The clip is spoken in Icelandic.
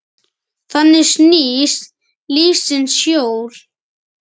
Þannig snýst lífsins hjól.